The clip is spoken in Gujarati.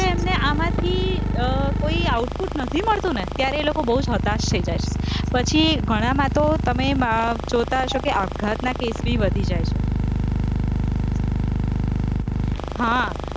એમને આમાંથી અહ કોઈ output નથી મળતું ને ત્યારે એ લોકો બોવ જ હતાશ થઇ જાય છે, પછી ઘણામાં તો તમે જોતા હશો કે આપઘાતના case પણ વધી જાય છે, હા